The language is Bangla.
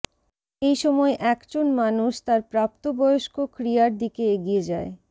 এই সময় একজন মানুষ তার প্রাপ্তবয়স্ক ক্রিয়ার দিকে এগিয়ে যায়